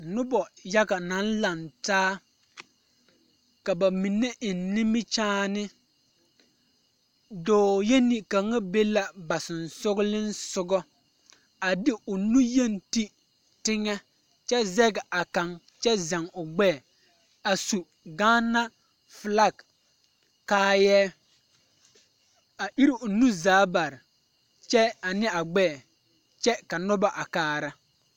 Nobɔ yaɡa naŋ lantaa ka ba mine eŋ nimikyaane dɔɔ yeni kaŋa be la ba sonsooleŋ soɡa a de o nuyeni te teŋɛ kyɛ zɛɡe a kaŋ kyɛ zɛɡe o ɡbɛɛ a su ɡaana felaŋ kaayɛɛ a iri o nuuri zaa bare kyɛ ane a ɡbɛɛ kyɛ ka noba a kaara..